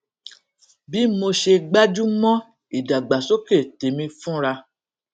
bí mo ṣe gbájú mó ìdàgbàsókè tèmi fúnra